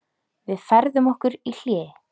Við færðum okkur í hléi.